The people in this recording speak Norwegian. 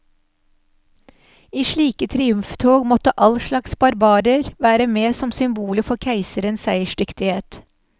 I slike triumftog måtte all slags barbarer være med som symboler for keiserens seiersdyktighet.